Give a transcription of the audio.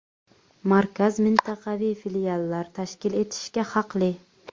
Markaz mintaqaviy filiallar tashkil etishga haqli.